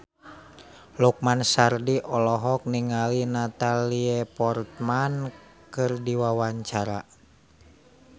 Lukman Sardi olohok ningali Natalie Portman keur diwawancara